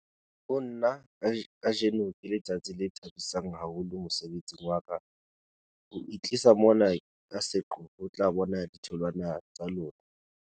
"Ho nna, kajeno ke letsatsi le thabisang haholo mosebetsing wa ka, ho itlisa mona ka seqo ho tla bona ditholwana tsa lona."